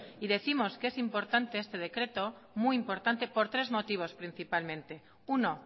y décimos que es importante este decreto muy importante por tres motivos principalmente uno